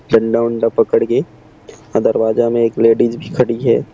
डंडा उन्डा पकड़ के दरवाजे में एक लेडिस भी खड़ी है।